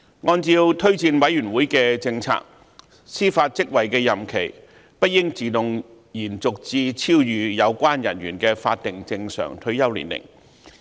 按照推薦委員會的政策，司法職位的任期不應自動延續至超逾有關人員的法定正常退休年齡。